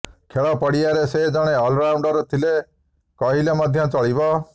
ଖେଳ ପଡିଆରେ ସେ ଜଣେ ଅଲରାଉଣ୍ଡର ଥିଲେ କହିଲେ ମଧ୍ୟ ଚଲିବ